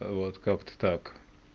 вот как-то так